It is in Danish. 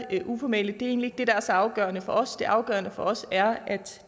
uformelt er egentlig det der er så afgørende for os det afgørende for os er at